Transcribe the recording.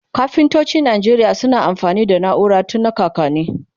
kafintocin Nigeria suna amfani da naura tun na kakanni